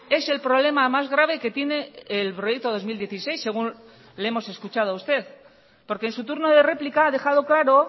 es el problema más grave que tiene el proyecto dos mil dieciséis según le hemos escuchado a usted porque en su turno de réplica ha dejado claro